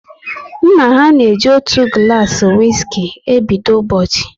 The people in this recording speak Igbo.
Nna ha na eji otu gulasi wiski e bido ụbọchị